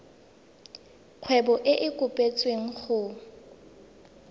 kgwebo e e kopetswengcc go